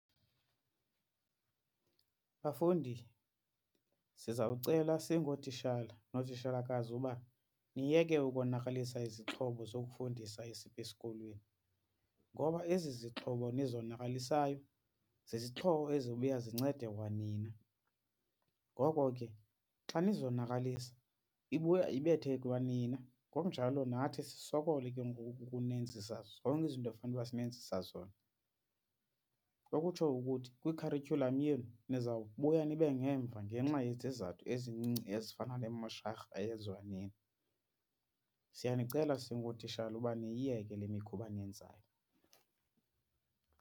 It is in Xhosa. Bafundi sizawucela singootitshala nootitshalakazi uba niyeke ukonakalisa izixhobo zokufundisa esikolweni ngoba ezi zixhobo nizonakalisayo zizixhobo ezizobuya zincede kwanina. Ngoko ke xa nizonakalisa ibuya ibethe kwanina ngokunjalo nathi sisokole ke ngoku ukunenzisa zonke izinto ekufuneka uba sinenzisa zona. Okutsho ukuthi kwi-curriculum yenu nizawubuya nibe ngemva ngenxa yezizathu ezincinci ezifana nemosharha eyenziwa nini. Siyanicela singootitshala uba niyiyeke le mikhuba niyenzayo.